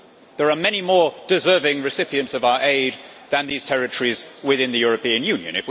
There are many more deserving recipients of our aid than these territories within the European Union.